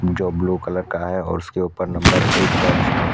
जो blue colour का है उसके ऊपर नंबर एक दर्ज है।